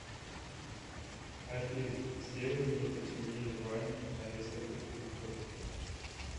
афина сделай мне потемнее в ванне на несколько пунктов